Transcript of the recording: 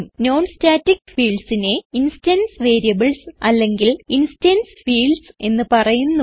non static fieldsനെ instance variables അല്ലെങ്കിൽ instance fields എന്ന് പറയുന്നു